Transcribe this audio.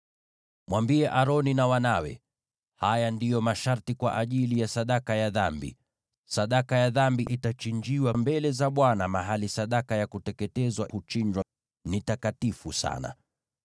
“Mwambie Aroni na wanawe: ‘Haya ndiyo masharti kwa ajili ya sadaka ya dhambi: Sadaka ya dhambi itachinjiwa mbele za Bwana mahali sadaka ya kuteketezwa huchinjiwa, ni takatifu sana.